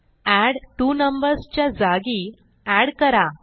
add two numbers च्या जागी add करा